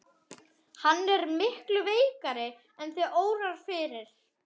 Hann er miklu veikari en þig órar fyrir.